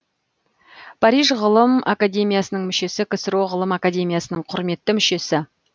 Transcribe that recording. париж ғылым академиясының мүшесі ксро ғылым академиясының құрметті мүшесі